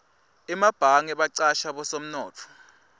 emabhange bacasha bosomnotfo